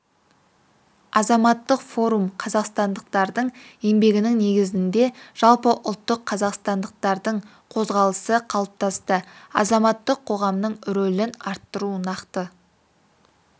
азаматтық форум қазақстандықтардың еңбегінің негізінде жалпы ұлттық қазақстандықтардың қозғалысы қалыптасты азаматтық қоғамның рөлін арттыру нақты